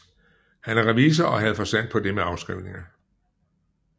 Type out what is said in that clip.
Han er revisor og havde forstand på det med afskrivninger